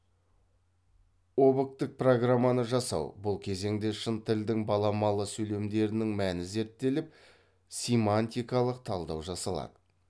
объктік программаны жасау бұл кезеңде шын тілдің баламалы сөйлемдерінің мәні зерттеліп симантикалық талдау жасалады